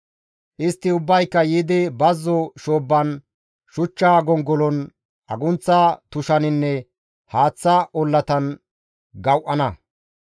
Istti ubbayka yiidi bazzo shoobban, shuchcha gongolon, agunththa tushaninne haaththa ollatan gawu7ana.